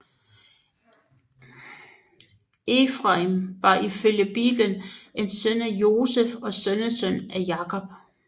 Efraim var ifølge Bibelen en søn af Josef og sønnesøn af Jakob